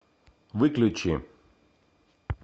выключи